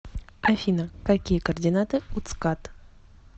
афина какие координаты у цкад